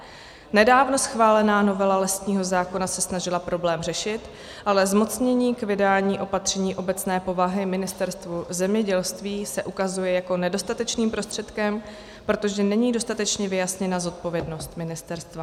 Nedávno schválená novela lesního zákona se snažila problém řešit, ale zmocnění k vydání opatření obecné povahy Ministerstvu zemědělství se ukazuje jako nedostatečný prostředek, protože není dostatečně vyjasněna zodpovědnost ministerstva.